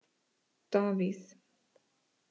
Davíð